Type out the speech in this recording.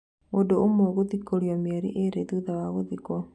Mũndũ ũmwe gũthikũrio mĩeri ĩrĩ thutha wa gũthikwo.